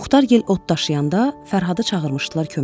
Muxtar yel ot daşıyanda Fərhadı çağırmışdılar köməyə.